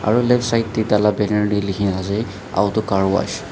aro leftside te tala kena dekhi ase auto car wash .